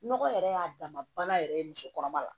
Nɔgɔ yɛrɛ y'a dama bana yɛrɛ ye musokɔrɔba la